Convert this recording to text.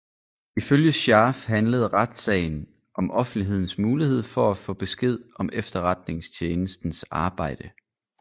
Ifølge Scharf handlede retssagen om offentlighedens mulighed for at få besked om efterretningstjenestens arbejde